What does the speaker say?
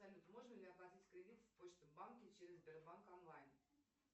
салют можно ли оплатить кредит в почта банке через сбербанк онлайн